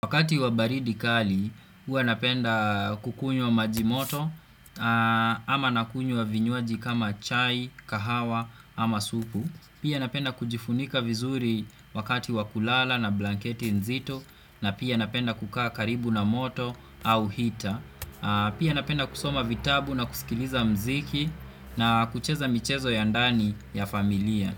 Wakati wabaridi kali, huwa napenda kukunywa majimoto ama nakunywa vinywaji kama chai, kahawa ama supu Pia napenda kujifunika vizuri wakati wakulala na blanketi nzito na pia napenda kukaa karibu na moto au heater Pia napenda kusoma vitabu na kusikiliza muziki na kucheza michezo ya ndani ya familia.